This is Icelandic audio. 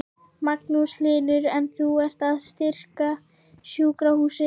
Magnús Hlynur: En þú ert að styrkja sjúkrahúsið?